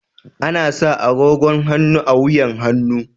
Ana sa agogon hannu a wuyan hannu.